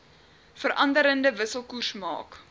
veranderende wisselkoers maak